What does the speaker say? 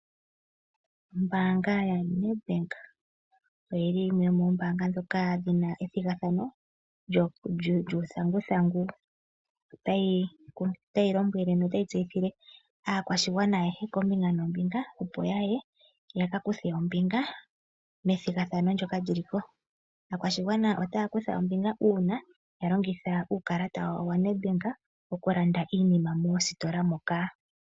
Ombaanga yaNedbank oyo yimwe yomoombaanga ndhoka dhi na ethigathano lyuuthanguthangu. Otayi lombwele notayi tseyithile aakwashigwana ayehe koombinga noombinga, opo ya ye ya ka kuthe ombinga methigathano ndyoka li li ko. Aakwashigwana otaya kutha ombinga uuna ya longitha uukalata wawo wa Nedbank uuna ya landa iinima moositola moka.